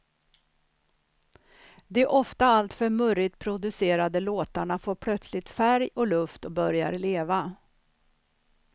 De ofta alltför murrigt producerade låtarna får plötsligt färg och luft och börjar leva.